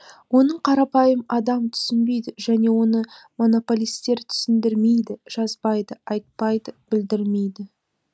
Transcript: оны қарапайым адам түсінбейді және оны монополистер түсіндірмейді жазбайды айтпайды білдірмейді